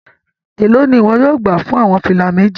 Elo ni iwọ yóò gba fun awọn fila meji?